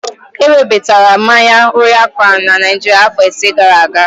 Ewebata mmanya Royal kraun na Naịjirịa afọ ise gara aga.